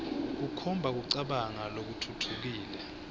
kukhomba kucabanga lokutfutfukile